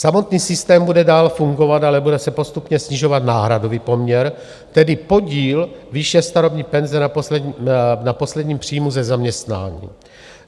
Samotný systém bude dál fungovat, ale bude se postupně snižovat náhradový poměr, tedy podíl výše starobní penze na posledním příjmu ze zaměstnání.